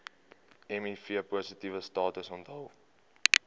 mivpositiewe status onthul